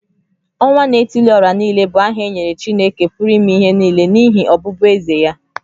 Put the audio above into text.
Onwa-na-etili-ora-niile bụ aha e nyere Chineke pụrụ ime ihe nile n’ihi ọbụbụeze ya.